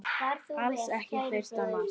Alls ekki fyrsta mars!